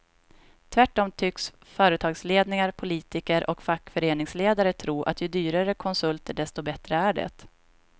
Tvärtom tycks företagsledningar, politiker och fackföreningsledare tro att ju dyrare konsulter desto bättre är det.